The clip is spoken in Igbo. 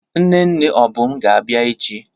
Nne nne Obum ga-abia echi.